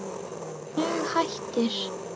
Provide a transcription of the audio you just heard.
Dug hættir.